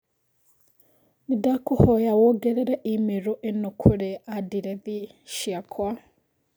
Nĩndakũhoya wongerere i-mīrū ĩno kũrĩ andirethi ciakwa